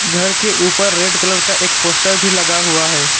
घर के ऊपर रेड कलर का एक पोस्टर भी लगा हुआ है।